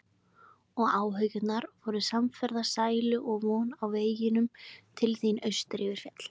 Og Áhyggjurnar voru samferða sælu og von á veginum til þín austur yfir fjall.